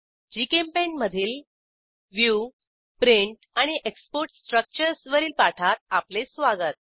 GChemPaint मधील view print and export structures वरील पाठात आपले स्वागत